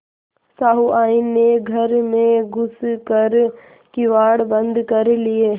सहुआइन ने घर में घुस कर किवाड़ बंद कर लिये